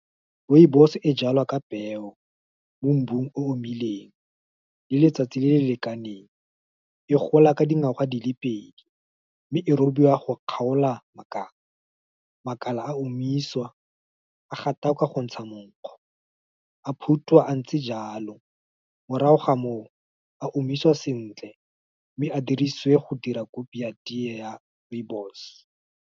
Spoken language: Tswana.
Rooibos e jalwa ka peo, mo mbung o omileng, le letsatsi le le lekaneng, e gola ka dingwaga di le pedi, mme e robiwa go kgaola makala, makala a omiswa, a gatakwa go ntsha monkgo, a phutwa a ntse jalo. Morago ga moo, a omiswa sentle, mme a dirisiwe go dira kopi ya teye ya rooibos.